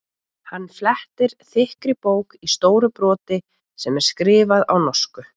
Hann flettir þykkri bók í stóru broti sem er skrifuð á norsku.